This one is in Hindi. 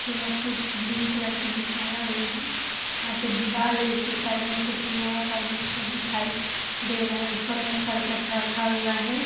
नीचे में कुछ ग्रीन कलर की बिछाया हुआ है यहाँ पे दीवाल है इसके साइड में कुछ लोहा का अजीब सा दिखाई दे रहा है ऊपर में करकट रखा है।